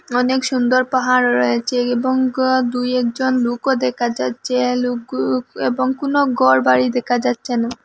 অনেক সুন্দর পাহাড় রয়েছে এবং দু একজন লুকও দেখা যাচ্ছে লুকও এবং কুনো গরবাড়ি দেকা যাচ্ছে না।